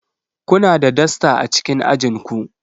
Kuna da dasta a cikin ajin ku